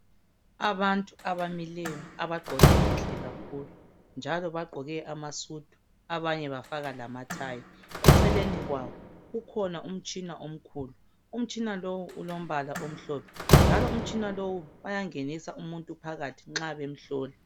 Abantu abamileyo abagqoke kuhle kakhulu njalo bagqoke amaSudu abanye bafaka lamatie eceleni kwabo kukhona umtshina omkhulu umtshina lo ulombala omhlophe njalo umtshina bayangenisa umuntu phakathi nxa bemhlola